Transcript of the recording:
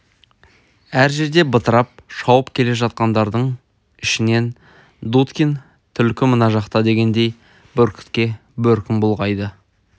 әр жерде бытырап шауып келе жатқандардың ішінен дудкин түлкі мына жақта дегендей бүркітке бөркін бұлғайды